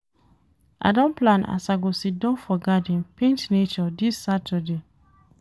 I don plan as I go siddon for garden paint nature dis Saturday.